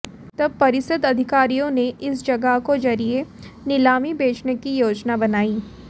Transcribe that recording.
तब परिषद अधिकारियों ने इस जगह को जरिये नीलामी बेचने की योजना बनाई